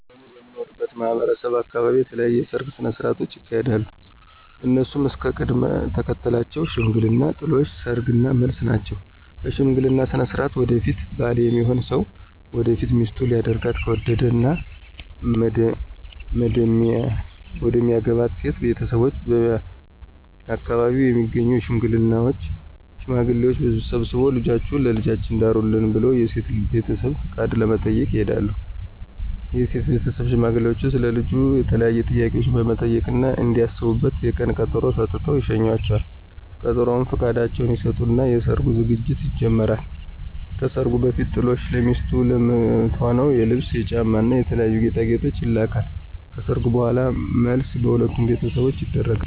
እኔ በምኖርበት ማህበረሰብ አካበቢ የተለያዩ የሰርግ ስነ ሥርዓቶች ይካሄዳሉ። እነሱም እስከ ቅደም ተከተላቸው ሽምግልና፣ ጥሎሽ፣ ሰርግ እና መልስ ናቸው። በሽምግልና ስነ ሥርዓት ወደፊት ባል ሚሆነው ሰው ወደፊት ሚስቱ ሊያደርጋት ከወደደው እና መደሚያገባት ሴት ቤተሰቦች በአከባቢው የሚገኙ ሽማግሌዎችን ሰብስቦ ልጃችሁን ለልጃችን ዳሩልን ብለው የሴትን ቤተሰቦች ፍቃድ ለመጠየቅ ይልካል። የሴት ቤተሰብም ሽማግሌዎቹን ስለ ልጁ የተለያዩ ጥያቄዎችን በመጠየቅ እና እንዲያስቡበት የቀን ቀጠሮ ሰጥተው ይሸኟቸዋል። በቀጠሮውም ፍቃዳቸውን ይሰጡና የሰርጉ ዝግጅት ይጀመራል። ከሰርጉ በፊትም ጥሎሽ ለሚስቱ ለምትሆነው የልብስ፣ የጫማ እና የተለያዩ ጌጣጌጦች ይልካል። ከሰርጉ በኋላም መልስ በሁለቱም ቤተሰቦች ይደረጋል።